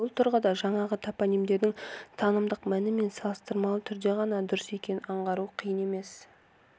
бұл тұрғыда жаңағы топонимдердің танымдық мәні салыстырмалы түрде ғана дұрыс екенін аңғару қиын емес